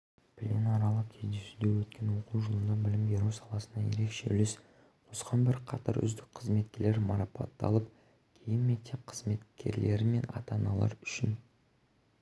пленарлық кездесуде өткен оқу жылында білім беру саласына ерекше үлес қосқан бірқатар үздік қызметкерлер марапатталып кейін мектеп қызметкерлері мен ата-аналар үшін